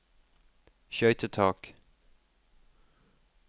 skøytetak